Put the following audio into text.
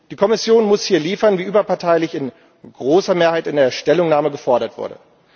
Die Kommission muss hier liefern, wie überparteilich in großer Mehrheit in der Stellungnahme gefordert wurde.